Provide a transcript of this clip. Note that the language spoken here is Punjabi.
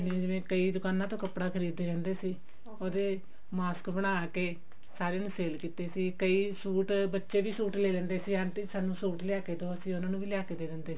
ਜਿਵੇਂ ਕਈ ਦੁਕਾਨ ਤੋਂ ਕੱਪੜਾ ਖਰੀਦ ਦੇ ਰਹਿੰਦੇ ਸੀ mask ਬਣਾ ਕਿ ਸਾਰੇ ਨੂੰ sale ਕਿਤੇ ਕਈ ਸੂਟ ਬੱਚੇ ਵੀ ਸੂਟ ਲੈ ਲੈਂਦੇ ਸੀ aunty ਸਾਨੂੰ ਸੂਟ ਲਿਆ ਕੇ ਦਿਓ ਅਸੀਂ ਉਹਨਾ ਨੂੰ ਵੀ ਲਿਆ ਕਿ ਦੇ ਦਿੰਦੇ ਸੀ